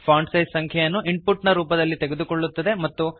font size ಸಂಖ್ಯೆಯನ್ನು input ನ ರೂಪದಲ್ಲಿ ತೆಗೆದುಕೊಳ್ಳುತ್ತದೆ